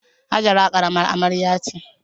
Hajara karamar amarya ce.